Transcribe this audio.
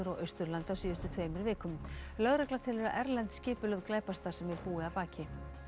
Austurlandi á síðustu tveimur vikum lögregla telur að erlend skipulögð glæpastarfsemi búi að baki